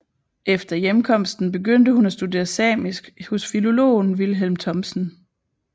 Efter hjemkomsten begyndte hun at studere samisk hos filologen Vilhelm Thomsen